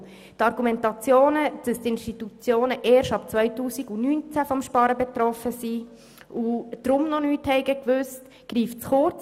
Die Argumentation, wonach die Institutionen erst ab dem Jahr 2019 vom Sparen betroffen sind und deshalb nichts wussten, greift zu kurz.